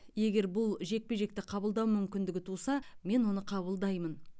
егер бұл жекпе жекті қабылдау мүмкіндігі туса мен оны қабылдаймын